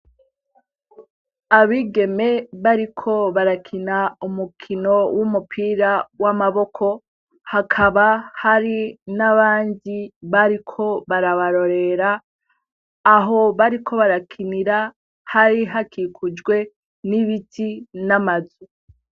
Abigeme bariko barakina umukino w'umupira w'Amaboko, hakaba hari n'abandi bariko barabarorera, aho bariko barakinira hari hakikujwe n'Ibiti n'Amazu.